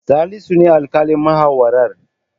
Salisu ne alƙalin muhawarar.